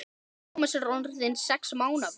Tómas er orðinn sex mánaða.